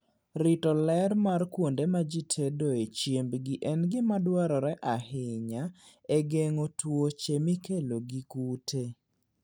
Rito ler mar kuonde ma ji tedoe chiembgi en gima dwarore ahinya e geng'o tuoche mikelo gi kute.